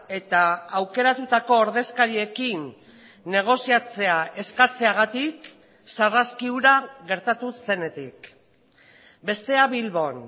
eta aukeratutako ordezkariekin negoziatzea eskatzeagatik sarraski hura gertatu zenetik bestea bilbon